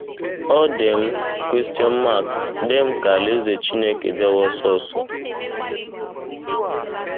Ọ dị m dị m ka Alaeze Chineke bịawa ọsọ ọsọ. ”